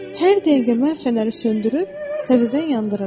Hər dəqiqə mən fənəri söndürüb təzədən yandırıram.